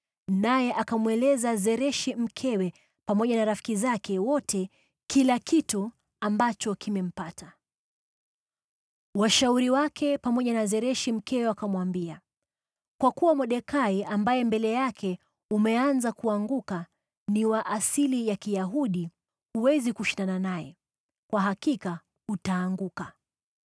naye akamweleza Zereshi mkewe pamoja na rafiki zake wote kila kitu ambacho kimempata. Washauri wake pamoja na Zereshi mkewe wakamwambia, “Kwa kuwa Mordekai, ambaye mbele yake umeanza kuanguka ni wa asili ya Kiyahudi, huwezi kushindana naye; kwa hakika utaanguka!”